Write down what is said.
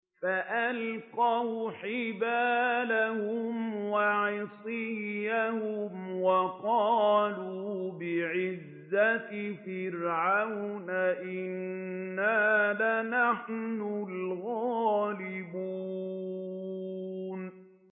فَأَلْقَوْا حِبَالَهُمْ وَعِصِيَّهُمْ وَقَالُوا بِعِزَّةِ فِرْعَوْنَ إِنَّا لَنَحْنُ الْغَالِبُونَ